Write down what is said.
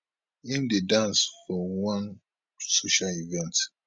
im dey dance for one social event